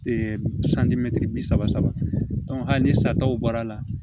santimɛtiri bi saba saba hali ni sa dɔw bɔr'a la